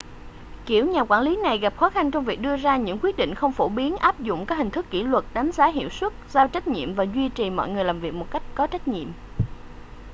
kiểu nhà quản lý này gặp khó khăn trong việc đưa ra những quyết định không phổ biến áp dụng các hình thức kỷ luật đánh giá hiệu suất giao trách nhiệm và duy trì mọi người làm việc một cách có trách nhiệm